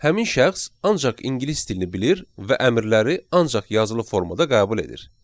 Həmin şəxs ancaq ingilis dilini bilir və əmrləri ancaq yazılı formada qəbul edir.